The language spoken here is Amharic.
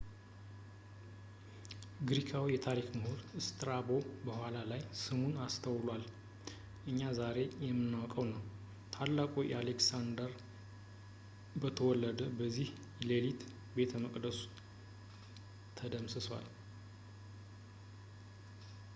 ግሪካዊው የታሪክ ምሁር ስትራቦ በኋላ ላይ ስሙን አስተውሏል ፣ እኛ ዛሬ የምናውቀው ነው። ታላቁ አሌክሳንደር በተወለደ በዚያው ሌሊት ቤተ መቅደሱ ተደምስሷል